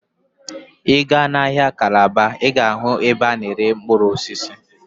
Ị gaa n'ahịa Calabar, Ị ga-ahụ ebe a na-ere mkpụrụ osisi.